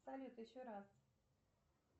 салют еще раз